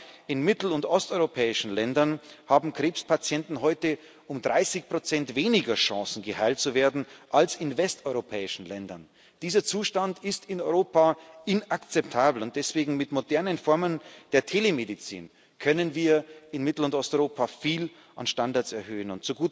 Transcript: Gerade in mittel und osteuropäischen Ländern haben Krebspatienten heute um 30 weniger Chancen, geheilt zu werden, als in westeuropäischen Ländern. Dieser Zustand ist in Europa inakzeptabel, und deswegen Mit modernen Formen der Telemedizin können wir in Mittel und Osteuropa viel an Standards erhöhen.